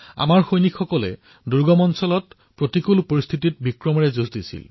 আমাৰ সৈন্যই দুৰ্গম ক্ষেত্ৰত বিষম পৰিস্থিতিতো নিজৰ শৌৰ্য প্ৰদৰ্শন কৰিছিল